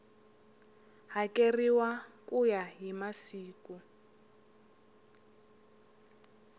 hakeriwa ku ya hi masiku